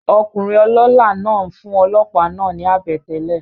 Okùnrin olólá náà n fún olòópá náà ni àbètélè